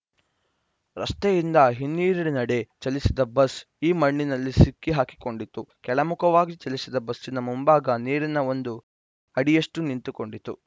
ರಸ್ತೆಯಿಂದ ಹಿನ್ನೀರಿನೆಡೆ ಚಲಿಸಿದ ಬಸ್‌ ಈ ಮಣ್ಣಿನಲ್ಲಿ ಸಿಕ್ಕಿಹಾಕಿಕೊಂಡಿತು ಕೆಳಮುಖವಾಗಿ ಚಲಿಸಿದ ಬಸ್ಸಿನ ಮುಂಭಾಗ ನೀರಿಗೆ ಒಂದು ಅಡಿಯಷ್ಟುನಿಂತುಕೊಂಡಿತು